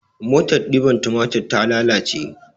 Motar ɗiban tumatir ta lalace